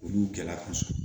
Olu gɛlɛya kosɛbɛ